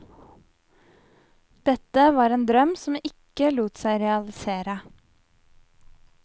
Dette var en drøm som ikke lot seg realisere.